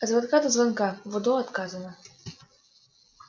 от звонка до звонка в удо отказано